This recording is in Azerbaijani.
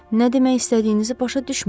Nə demək istədiyinizi başa düşmürəm.